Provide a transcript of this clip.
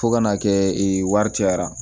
Fo ka n'a kɛ wari cayara